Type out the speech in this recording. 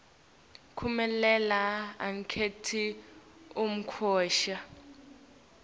kumele anikete umcashwa